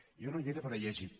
jo no hi era però he llegit